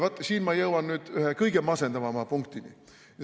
Nüüd ma jõuan nüüd ühe kõige masendavama punktini.